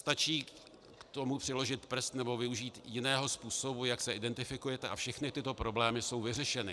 Stačí k tomu přiložit prst nebo využít jiného způsobu, jak se identifikujete, a všechny tyto problémy jsou vyřešeny.